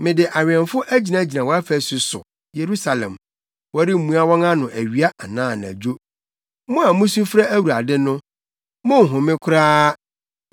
Mede awɛmfo agyinagyina wʼafasu so, Yerusalem; wɔremmua wɔn ano awia anaa anadwo. Mo a musu frɛ Awurade no, monnhome koraa,